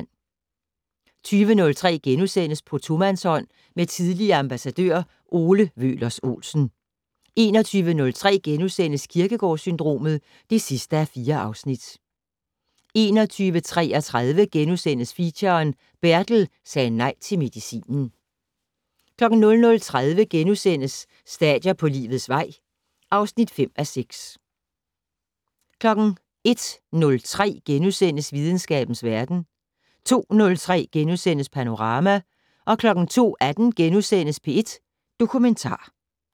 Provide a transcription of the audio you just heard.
20:03: På tomandshånd med tidligere ambassadør Ole Wøhlers Olsen * 21:03: Kierkegaard-syndromet (4:4)* 21:33: Feature: Bertel sagde nej til medicinen * 00:30: Stadier på livets vej (5:6)* 01:03: Videnskabens verden * 02:03: Panorama * 02:18: P1 Dokumentar *